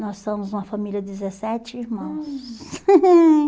Nós somos uma família de dezessete irmãos.